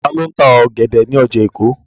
Ta ló ń ta ọ̀gẹ̀dẹ̀ ní ọjà Èkó?